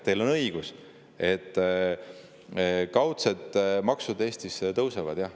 Teil on õigus, kaudsed maksud Eestis tõusevad, jah.